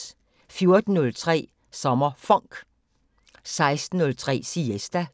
14:03: SommerFonk 16:03: Siesta